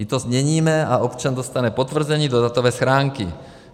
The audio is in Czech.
I to změníme a občan dostane potvrzení do datové schránky.